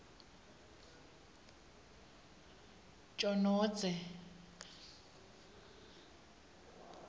tjonondze